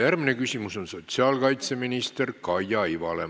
Järgmine küsimus on sotsiaalkaitseminister Kaia Ivale.